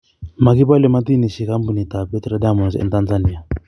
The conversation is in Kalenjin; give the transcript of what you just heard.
magopole madinishek kampunitap Petra Diamonds en tanzania